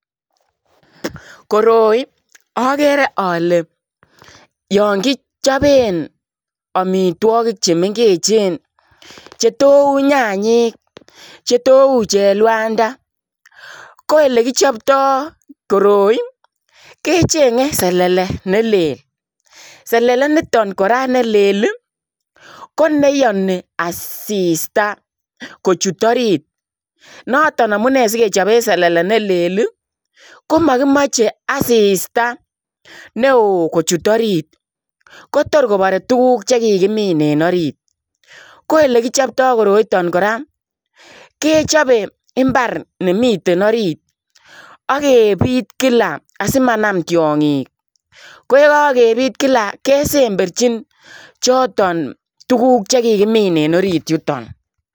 Koroi agere ale yaan kichapeen amitwagiik che mengeechen che thoo uu nyanyiik che thoou uuu cheluanda ko elekichaptai koroi ii kechengei selele ne level selele nitoon kora nelel ii ko neyanii assista kochuut orit notoon amunei sigechape selele ne lel ii ko makimachei asista ne wooh kochuut oriit ko toor kobare kiit nekikimiin en oriit ko ole kipchaptai koroitaan kora kechape mbar nemiten oriit agebiit kila asimanam tiangiik ko ye kagebiit kila kesemberjiin chotoon tuguuk chekikimiin en oriit yutoon.